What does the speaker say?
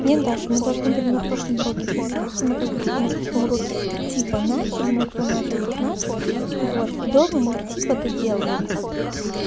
нет даша мы должны были на прошлом уроке писать и мы как бы типа на прошлом уроке типа начали ну кто начал тут начал вот и дома мы типа доделываем как бы